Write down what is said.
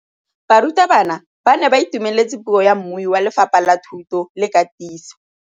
Barutabana ba ne ba itumeletse puô ya mmui wa Lefapha la Thuto le Katiso.